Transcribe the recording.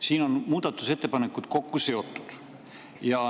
Siin on muudatusettepanekud kokku seotud.